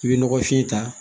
I bɛ nɔgɔfin ta